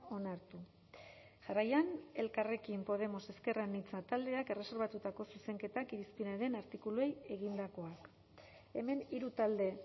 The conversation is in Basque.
onartu jarraian elkarrekin podemos ezker anitza taldeak erreserbatutako zuzenketak irizpenaren artikuluei egindakoak hemen hiru talde